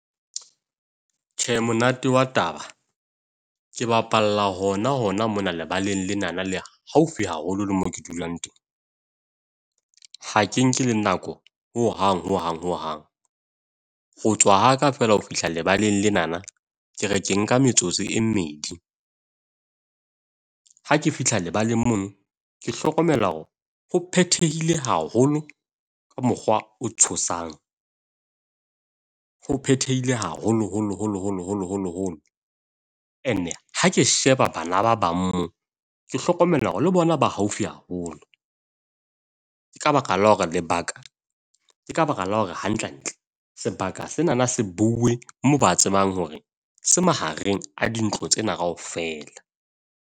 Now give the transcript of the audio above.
Tjhe, monate wa taba ke bapalla hona hona mona lebaleng lenana le haufi haholo le mo ke dulang teng. Ha ke nke le nako hohang hohang hohang, ho tswa ha ka fela ho fihla lebaleng lenana ke re ke nka metsotso e mmedi. Ha ke fihla lebaleng mono ke hlokomela hore ho phethehile haholo ka mokgwa o tshosang. Ho phethehile haholoholo, holo, holo, holo, holo, holo. Ene ha ke sheba bana ba bang moo, ke hlokomela hore le bona ba haufi haholo. Ke ka baka la hore lebaka ke ka baka la hore hantlentle sebaka sena se bue , moo ba tsebang hore se mahareng a dintlo tsena kaofela.